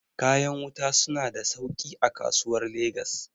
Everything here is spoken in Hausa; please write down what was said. kayan wuta suna da sauki a kasuwar legas